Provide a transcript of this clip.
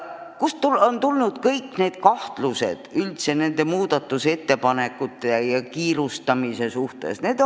Kust on tulnud kõik need kahtlused nende muudatusettepanekute ja kiirustamise suhtes?